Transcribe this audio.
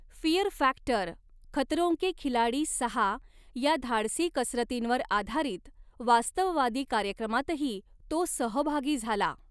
Fear factor Khatron ke Khiladi सहा या धाडसी कसरतींवर आधारित वास्तववादी कार्यक्रमातही तो सहभागी झाला.